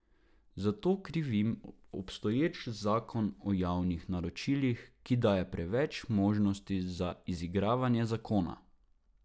Za to krivim obstoječ zakon o javnih naročilih, ki daje preveč možnosti za izigravanje zakona.